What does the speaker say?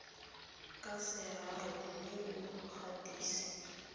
ka seraro mme o gatise